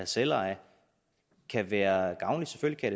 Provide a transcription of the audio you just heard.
selveje kan være gavnligt selvfølgelig